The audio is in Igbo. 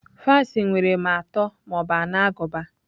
Fans nwere ma atọ ma ọ bụ anọ agụba.